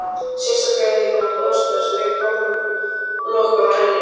Sérstaklega þegar hún brosti og strauk hárlokk frá enninu.